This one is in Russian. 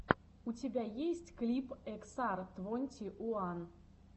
у тебя есть клип эксар твонти уан